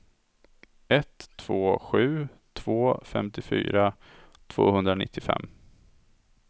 ett två sju två femtiofyra tvåhundranittiofem